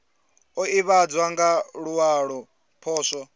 o ivhadzwa nga luwalo poswo